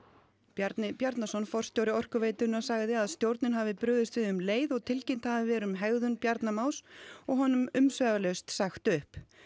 Bjarni Bjarnason forstjóri Orkuveitunnar sagði að stjórnin hafi brugðist við um leið og tilkynnt hafi verið um hegðun Bjarna Más og honum umsvifalaust sagt upp